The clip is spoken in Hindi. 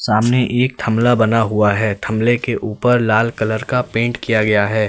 सामने एक थंबला बना हुआ है थंबले के ऊपर लाल कलर का पेंट किया गया है।